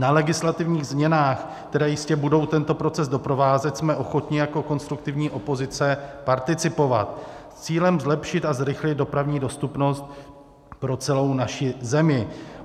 Na legislativních změnách, které jistě budou tento proces doprovázet, jsme ochotni jako konstruktivní opozice participovat s cílem zlepšit a zrychlit dopravní dostupnost pro celou naši zemi.